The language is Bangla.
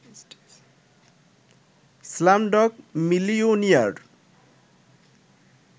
Slumdog Millionaire